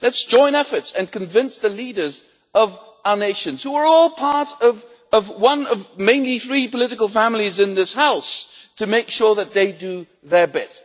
Let's join efforts and convince the leaders of our nations, who are all part of one of mainly three political families in this House, to make sure that they do their bit.